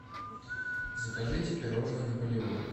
закажите пирожное наполеон